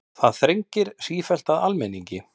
Það þrengir sífellt að almenningi